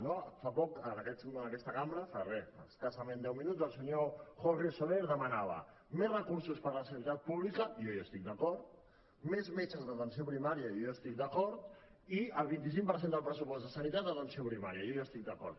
no fa poc en aquesta cambra fa re escassament deu minuts el senyor jorge soler demanava més recursos per a la sanitat pública jo hi estic d’acord més metges d’atenció primària jo hi estic d’acord i el vint cinc per cent del pressupost de sanitat a atenció primària jo hi estic d’acord